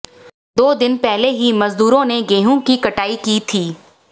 दो दिन पहले ही मजदूरों ने गेहूं की कटाई की थी